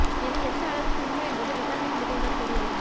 இது எந்த அளவுக்கு உண்மை என்பது விசாரணையின் முடிவில் தான் தெரியவரும்